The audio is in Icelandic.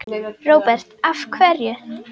Róbert: Af hverju?